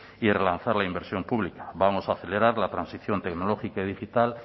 y relanzar la inversión pública vamos a acelerar la transición tecnológica y digital